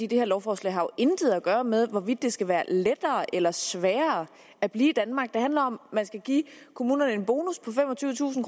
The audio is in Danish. det her lovforslag har jo intet at gøre med hvorvidt det skal være lettere eller sværere at blive i danmark det handler om om man skal give kommunerne en bonus på femogtyvetusind